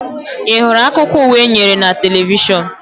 Ị hụrụ akụkọ ụwa e nyere na televishọn?